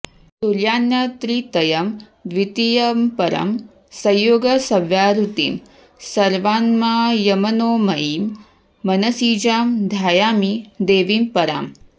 तुर्यान्यत्त्रितयं द्वितीयमपरं संयोगसव्याहृतिं सर्वाम्नायमनोमयीं मनसिजां ध्यायामि देवीं पराम्